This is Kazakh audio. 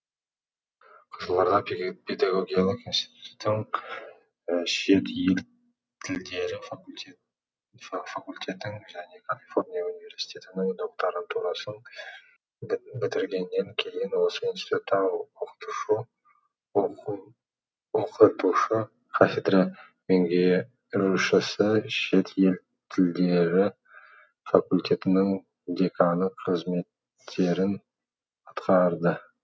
қызылорда педагогикалық институтының шет ел тілдері факультетін және калифорния университетінің докторантурасын бітіргеннен кейін осы институтта оқытушы о қы ту шы кафедра мең ге ру шісі шет ел тілдері факультетінің деканы қызметтерін атқарды